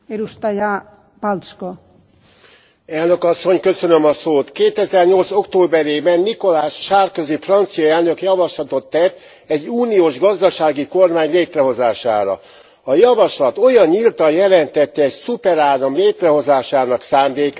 Elnök Asszony, 2008 októberében Nicolas Sarkozy francia elnök javaslatot tett egy uniós gazdasági kormány létrehozására. A javaslat olyan nyíltan jelentette egy szuperállam létrehozásának szándékát, hogy az elnevezést megváltoztatták.